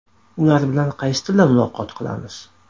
Ular bilan qaysi tilda muloqot qilamiz?